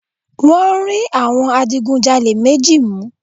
Wọ́n rí àwọn adigunjalè méji mu